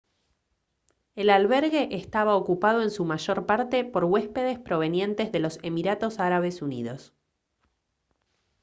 el albergue eestaba ocupado en su mayor parte por huéspedes provenientes de los emiratos árabes unidos